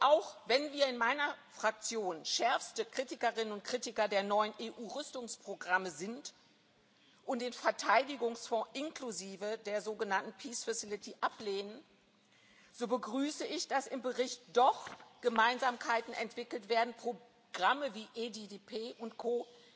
werden. Auch wenn wir in meiner Fraktion schärfste Kritikerinnen und Kritiker der neuen EU Rüstungsprogramme sind und den Verteidigungsfonds inklusive der sogenannten peace facility ablehnen, so begrüße ich, dass im Bericht doch Gemeinsamkeiten entwickelt werden, Programme wie EDIDP